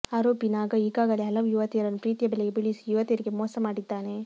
ಆರೋಪಿ ನಾಗ ಈಗಾಗಲೇ ಹಲವು ಯುವತಿಯರನ್ನು ಪ್ರೀತಿಯ ಬಲೆಗೆ ಬೀಳಿಸಿ ಯುವತಿಯರಿಗೆ ಮೋಸ ಮಾಡಿದ್ದಾನೆ